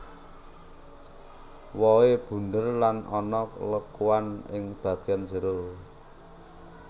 Wohé bunder lan ana lekuan ing bagian jero